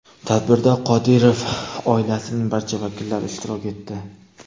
Tadbirda Qodirov oilasining barcha vakillari ishtirok etdi.